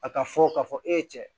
A ka fɔ ka fɔ e ye cɛ ye